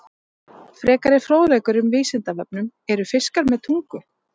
Frekari fróðleikur um Vísindavefnum: Eru fiskar með tungu?